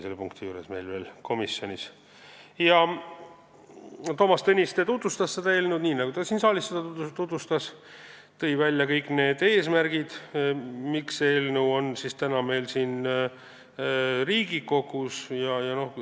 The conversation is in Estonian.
Toomas Tõniste tutvustas eelnõu, nii nagu ta ka siin saalis seda tutvustas, ja tõi välja kõik eesmärgid, miks see eelnõu täna siin Riigikogus on.